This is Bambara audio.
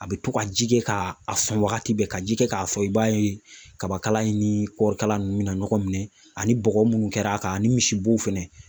A bi to ka ji kɛ k'a sɔn wagati bɛɛ ka ji kɛ k'a sɔn, i b'a ye kabakala in ni kɔɔri kala nunnu bɛna ɲɔgɔn minɛ, ani bɔgɔ munnu kɛra a kan, ani misibo fɛnɛ